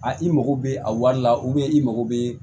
A i mago bɛ a wari la i mago bɛ